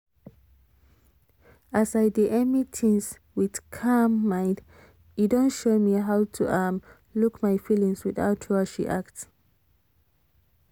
as i d emy things witcalm mind e don show me how to um look my feelings without rush react